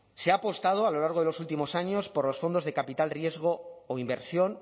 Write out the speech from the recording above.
se ha apostado a lo largo de los últimos años por los fondos de capital riesgo o inversión